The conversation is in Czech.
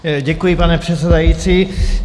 Děkuji, pane předsedající.